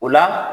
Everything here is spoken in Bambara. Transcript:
O la